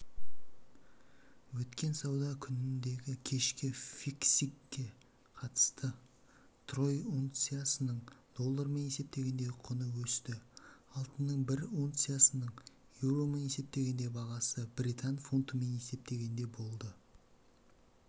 өткен сауда күніндегікешкі фиксингке қатысты трой унциясының доллармен есептегендегі құны өсті алтынның бір унциясының еуромен есептегендегі бағасы британ фунтымен есептегенде болды